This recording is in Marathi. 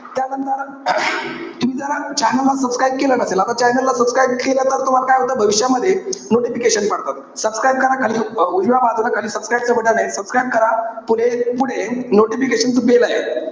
त्यानंतर तुम्ही जर channel ला subscribe केलं नसेल, आता channel ला subscribe केलं तर तुम्हाला काय होईल? भविष्यामध्ये notification पडतात. Subscribe करा खाली. उजव्या बाजूला खाली subscribe च बटण ए. subscribe करा. पुले~ पुढे notification च bell ए.